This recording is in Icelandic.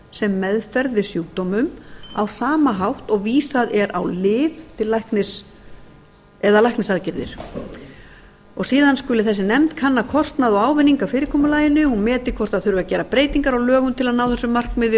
sem meðferð við sjúkdómum á sama hátt og vísað er á lyf eða læknisaðgerðir síðan skuli þessi nefnd kanna kostnað og ávinning af fyrirkomulaginu hún meti hvort gera þurfi breytingar á lögum til að ná þessu markmiði